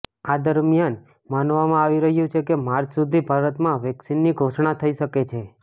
આ દરમિયાન માનવામાં આવી રહ્યુ છે કે માર્ચ સુધી ભારતમાં વેક્સીનની ઘોષણા થઈ શકે છે